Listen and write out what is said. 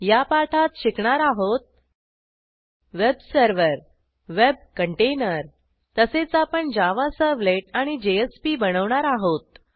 या पाठात शिकणार आहोत वेब सर्व्हर वेब कंटेनर तसेच आपणJava सर्व्हलेट आणि जेएसपी बनवणार आहोत